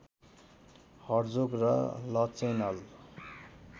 Herzog र Lachenal